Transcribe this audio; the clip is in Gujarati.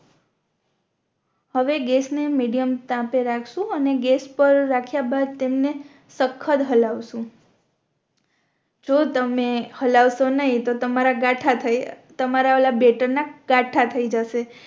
હવે ગેસ ને મીડિયમ તાપે રાખશુ અને ગેસ પર રખિયા બાદ તેમને સખ્ખત હળવશુ જો તમે હળવશો નય તો તમારા ગાથા થઈ તમારા ઓલા બેટર ના ગાથાં થઈ જશે